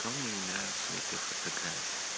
то мне не нравится в этой фотографии